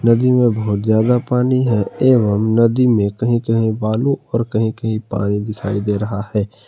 नदी में बहुत ज्यादा पानी है एवं नदी में कहीं कहीं बालू और कहीं कहीं पानी दिखाई दे रहा है।